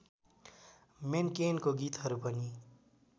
मेन्केनको गीतहरू पनि